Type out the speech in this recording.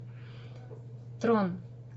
трон